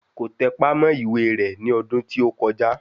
Kò tẹpá mọ́ ìwé rẹ̀ ní ọdún tí ó kọjá